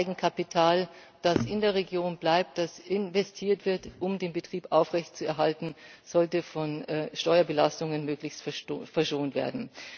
Eigenkapital, das in der Region bleibt, das investiert wird, um den Betrieb aufrechtzuerhalten, sollte von Steuerbelastungen möglichst verschont werden.